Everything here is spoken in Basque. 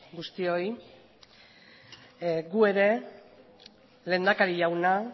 guztioi gu ere lehendakari jauna